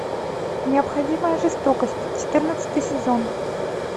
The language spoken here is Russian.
необходимая жестокость четырнадцатый сезон